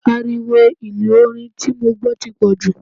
Ariwo ìlú orin tí mo gbọ́ ti pọ̀ jù.